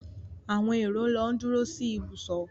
Àwọn èrò ló ń duro sí ìbùsọ̀.